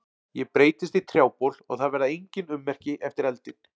Ég breytist í trjábol og það verða engin ummerki eftir eldinn.